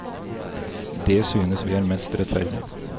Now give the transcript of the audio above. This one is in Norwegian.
Det synes vi er mest rettferdig.